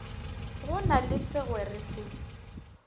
go na le segwere se